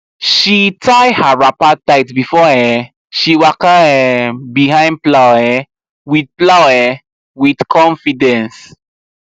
she tie her wrapper tight before um she waka um behind plow um with plow um with confidence